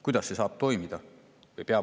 Kuidas see saab toimida?